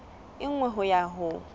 e nngwe ho ya ho